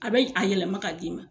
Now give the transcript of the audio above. A bɛ a yɛlɛma k'a d'i ma.